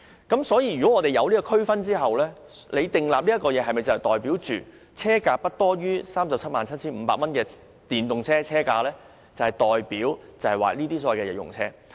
既然有上述區分，那麼政府所設定的寬減額是否代表電動車車價不高於 377,500 元便是所謂的日用電動車呢？